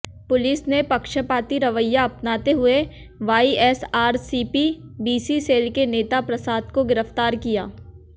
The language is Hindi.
पुलिस ने पक्षपाती रवैया अपनाते हुये वाईएसआरसीपी बीसी सेल के नेता प्रसाद को गिरफ्तार किया